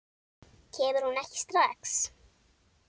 Kemur hún ekki strax?